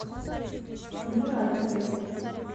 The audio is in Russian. муратовой